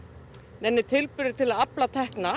neinir tilburðir til að afla tekna